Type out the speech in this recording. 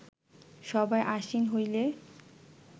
সভায় আসীন হইলে